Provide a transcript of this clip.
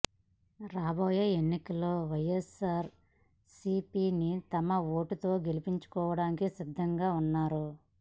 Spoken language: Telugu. రాబోయే ఎన్నికల్లో వైఎస్సార్ సీపీని తమ ఓటుతో గెలిపించుకోవడానికి సిద్ధంగా ఉన్నారు